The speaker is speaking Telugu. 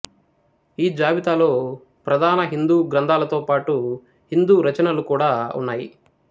ఈ జాబితాలో ప్రధాన హిందూ గ్రంథాలతో పాటు హిందూ రచనలు కూడా ఉన్నాయి